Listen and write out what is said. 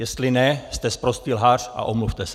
Jestli ne, jste sprostý lhář a omluvte se.